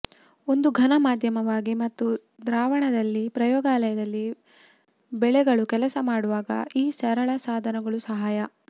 ಒಂದು ಘನ ಮಾಧ್ಯಮವಾಗಿ ಮತ್ತು ದ್ರಾವಣದಲ್ಲಿ ಪ್ರಯೋಗಾಲಯದಲ್ಲಿ ಬೆಳೆಗಳು ಕೆಲಸ ಮಾಡುವಾಗ ಈ ಸರಳ ಸಾಧನಗಳು ಸಹಾಯ